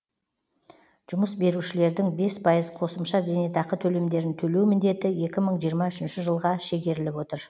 жұмыс берушілердің бес пайыз қосымша зейнетақы төлемдерін төлеу міндеті екі мың жиырма үшінші жылға шегеріліп отыр